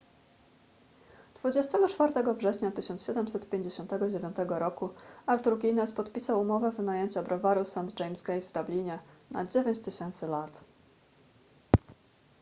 24 września 1759 roku arthur guinness podpisał umowę wynajęcia browaru st james' gate w dublinie na 9000 lat